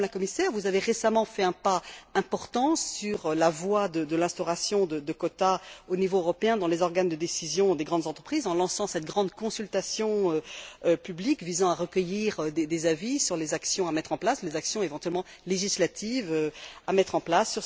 Madame la Commissaire, vous avez récemment fait un pas important sur la voie de l'instauration de quotas au niveau européen dans les organes de décision des grandes entreprises, en lançant cette grande consultation publique visant à recueillir des avis sur les actions, éventuellement législatives, à mettre en place.